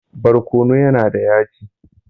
Barkono yana da yaji.